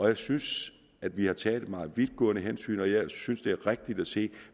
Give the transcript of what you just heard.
jeg synes at vi har taget meget vidtgående hensyn og jeg synes at det er rigtigt at sige at